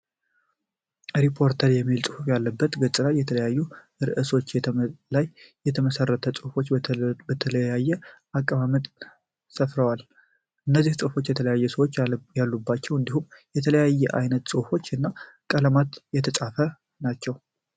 ሪፖርተር የሚል ጽሁፍ ያለበት ገጽ ላይ የተለያዩ ርእሶች ላይ የተመሰረቱ ጽሁፎች በተለያየ አቀማመጥ ሰፍረዋል። እነዚህም ጽሁፎች የተለያዩ ሰዎች ያሉባቸው እንዲሁም በተለያየ አይነት ጽሁፎች እና ቀለማትት የተጻፉ ናቸው።